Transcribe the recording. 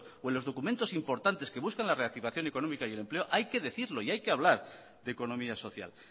o en los documentos importantes que buscan la reactivación económica y del empleo hay que decirlo y hay que hablar de economía social